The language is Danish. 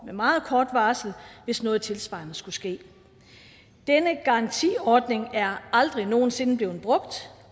med meget kort varsel hvis noget tilsvarende skulle ske denne garantiordning er aldrig nogen sinde blevet brugt